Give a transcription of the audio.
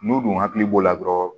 N'u dun hakili b'o la dɔrɔn